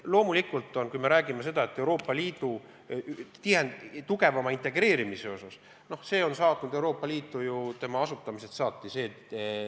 Loomulikult, kui me räägime Euroopa Liidu tugevamast integreerimisest, siis see debatt on Euroopa Liitu saatnud tema asutamisest saati.